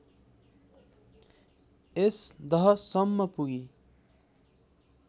यस दहसम्म पुगी